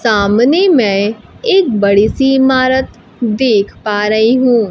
सामने मैं एक बड़ी इमारत देख पा रही हूं।